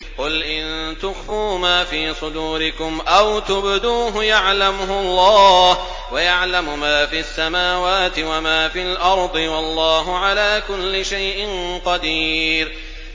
قُلْ إِن تُخْفُوا مَا فِي صُدُورِكُمْ أَوْ تُبْدُوهُ يَعْلَمْهُ اللَّهُ ۗ وَيَعْلَمُ مَا فِي السَّمَاوَاتِ وَمَا فِي الْأَرْضِ ۗ وَاللَّهُ عَلَىٰ كُلِّ شَيْءٍ قَدِيرٌ